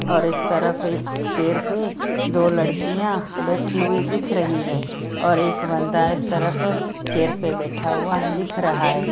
और इस तरफ एक चेयर पे दो लड़कियां बैठी हुई दिख रही है और एक बंदा इस तरफ चेयर पे बैठा हुआ दिख रहा है।